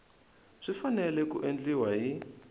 swi fanele ku endliwa hi